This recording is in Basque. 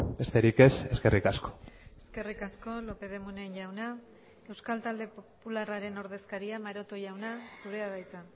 besterik ez eskerrik asko eskerrik asko lópez de munain jauna euskal talde popularraren ordezkaria maroto jauna zurea da hitza